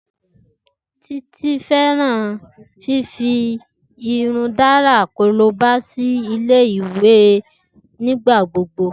Titi fẹran fifi irundidalara koroba si Ile-iwe nigbagbogbo.